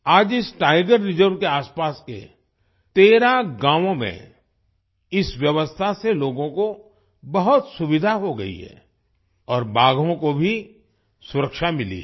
आज इस tiger reserve के आसपास के 13 गांवों में इस व्यवस्था से लोगों को बहुत सुविधा हो गयी है और बाघों को भी सुरक्षा मिली है